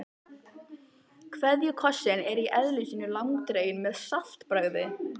KVEÐJUKOSSINN er í eðli sínu langdreginn með saltbragði.